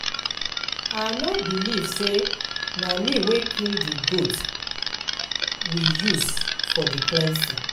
I no believe say na me wey kill the goat we use for the cleansing